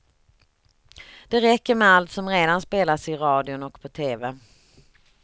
Det räcker med allt som redan spelas i radion och på tv.